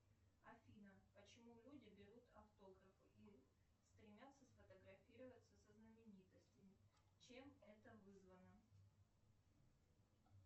афина почему люди берут автографы и стремятся сфотографироваться со знаменитостями чем это вызвано